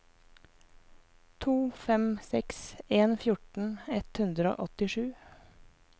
to fem seks en fjorten ett hundre og åttisju